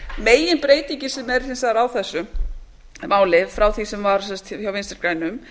meginbreytingin sem er hins vegar á þessu máli frá því sem var hjá vinstri grænum